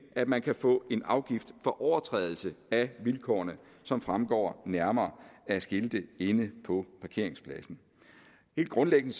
at man kan få en afgift for overtrædelse af vilkårene som fremgår nærmere af skilte inde på parkeringspladsen helt grundlæggende